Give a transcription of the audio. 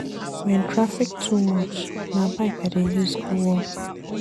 Wen traffic too much, na bike I dey use go work.